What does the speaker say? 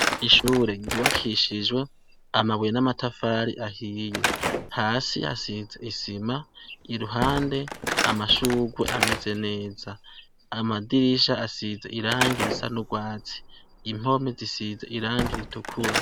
Ishure ryubakishijwe amabuye namatafari ahiye hasi hasize isima iruhande amashurwe ameze neza amadirisha asize irangi risa nurwatsi impome zisize irangi ritukura